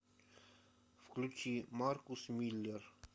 включи маркус миллер